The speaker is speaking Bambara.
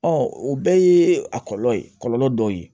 o bɛɛ ye a kɔlɔlɔ ye kɔlɔlɔ dɔ ye